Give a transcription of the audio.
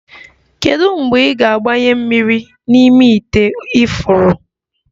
Kedu mgbe ị ga-agbanwe mmiri n'ime ite ifuru?